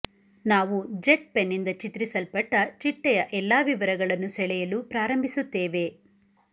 ನಾವು ಜೆಟ್ ಪೆನ್ನಿಂದ ಚಿತ್ರಿಸಲ್ಪಟ್ಟ ಚಿಟ್ಟೆಯ ಎಲ್ಲಾ ವಿವರಗಳನ್ನು ಸೆಳೆಯಲು ಪ್ರಾರಂಭಿಸುತ್ತೇವೆ